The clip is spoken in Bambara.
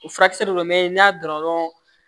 O furakisɛ de don n'a dɔn dɔrɔn